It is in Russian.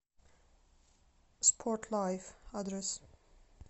спорт лайф адрес